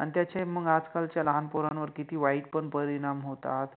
आणि त्याचे मंग आजकालच्या लहान पोरानवर किति वाइट पण परिणाम होतात